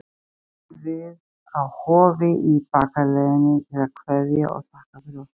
Við komum við á Hofi í bakaleiðinni til að kveðja og þakka fyrir okkur.